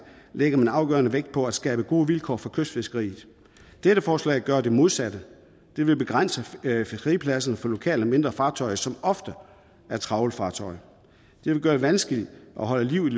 lægger afgørende vægt på at skabe gode vilkår for kystfiskeriet dette forslag gør det modsatte det vil begrænse fiskepladserne for lokale mindre fartøjer som ofte er trawlfartøjer det vil gøre det vanskeligt at holde liv i